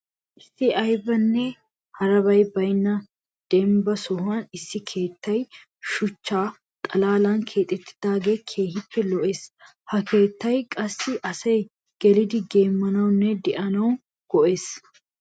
Issi aybinne harabay baynna dembba sohuwan issi keettay shuchcha xalaalan keexettidaagee keehippe lo'ees. Ha keettay qassi asay gelidi geemmanawunne de'anwu go'ees.